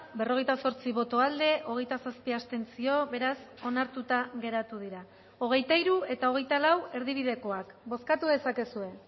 berrogeita zortzi boto aldekoa hogeita zazpi abstentzio beraz onartuta geratu dira hogeita hiru eta hogeita lau erdibidekoak bozkatu dezakezue